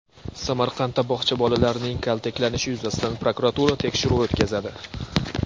Samarqandda bog‘cha bolalarining kaltaklanishi yuzasidan prokuratura tekshiruv o‘tkazadi.